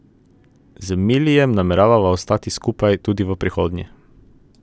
Z Milijem namerava ostati skupaj tudi v prihodnje.